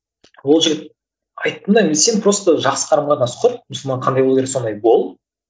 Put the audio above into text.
ол жігіт айттым да мен сен просто жақсы қарым қатынас құр мұсылман қандай болу керек сондай бол